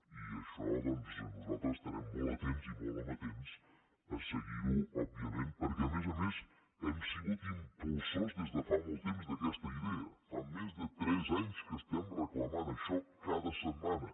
i això doncs nosaltres estarem molt atents molt amatents a seguir ho òbviament perquè a més a més hem sigut impulsors des de fa molt temps d’aquesta idea fa més de tres anys que reclamem això cada setmana